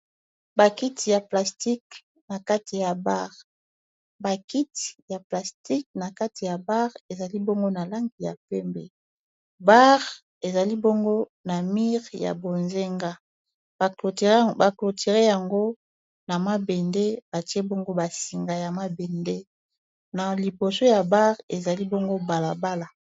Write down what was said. bakiti ya plastique na kati ya bare ezali bongo na langi ya pembe bar ezali bongo na mur ya bozenga ba cloture yango na ma bende batie bongo basinga ya mabende na liboso ya bar ezali bongo balabala.